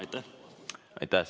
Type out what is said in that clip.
Aitäh!